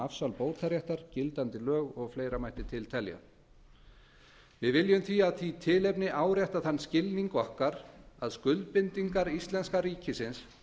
afsal bótaréttar gildandi lög og fleira mætti telja til við viljum því af því tilefni árétta þann skilning okkar að skuldbindingar íslenska ríkisins